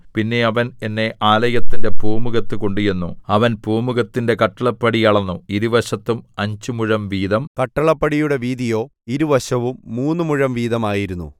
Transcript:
പിന്നെ അവൻ എന്നെ ആലയത്തിന്റെ പൂമുഖത്തു കൊണ്ടുചെന്നു അവൻ പൂമുഖത്തിന്റെ കട്ടിളപ്പടി അളന്നു ഇരുവശത്തും അഞ്ച് മുഴം വീതം കട്ടിളപ്പടിയുടെ വീതിയോ ഇരുവശവും മൂന്നു മുഴം വീതം ആയിരുന്നു